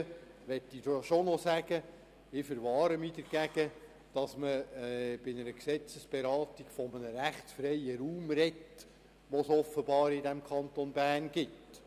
Im Übrigen möchte ich betonen, dass ich mich dagegen verwahre, bei einer Gesetzesberatung von einem «rechtsfreien Raum» zu sprechen, den es offenbar im Kanton Bern gibt.